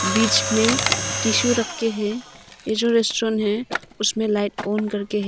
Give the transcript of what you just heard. बीच में टिशु रखे हैं ये जो रेस्टोरेंट है उसमें लाइट ऑन करके।